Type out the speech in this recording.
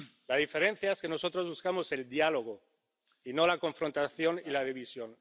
La diferencia es que nosotros buscamos el diálogo y no la confrontación y la división.